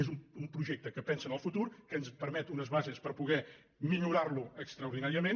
és un projecte que pensa en el futur que ens permet unes bases per poder millorar lo extraordinària ment